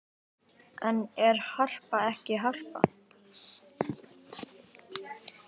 En er Harpa ekki Harpa?